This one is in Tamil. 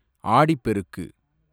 ஆடிப் பெருக்கு